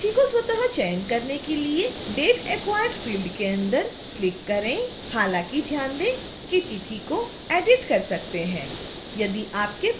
तिथि को स्वत: चयन करने के लिए date acquired फ़ील्ड के अंदर क्लिक करें हालांकि ध्यान दें कि तिथि को एडिट कर सकते हैं